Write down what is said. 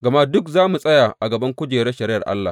Gama duk za mu tsaya a gaban kujerar shari’ar Allah.